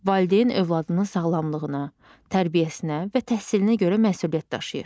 Valideyn övladının sağlamlığına, tərbiyəsinə və təhsilinə görə məsuliyyət daşıyır.